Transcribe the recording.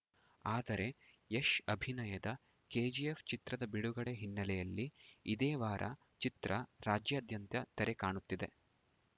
ಆದರೆ ಯಶ್‌ ಅಭಿನಯದ ಕೆಜಿಎಫ್‌ ಚಿತ್ರದ ಬಿಡುಗಡೆ ಹಿನ್ನೆಲೆಯಲ್ಲಿ ಇದೇ ವಾರ ಚಿತ್ರ ರಾಜ್ಯಾದ್ಯಂತ ತೆರೆ ಕಾಣುತ್ತಿದೆ